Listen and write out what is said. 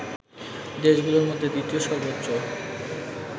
দেশগুলোর মধ্যে দ্বিতীয় সর্বোচ্চ